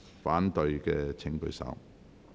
反對的請舉手。